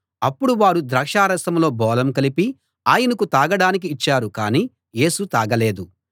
అప్పుడు వారు ద్రాక్షారసంలో బోళం కలిపి ఆయనకు తాగడానికి ఇచ్చారు కాని యేసు తాగలేదు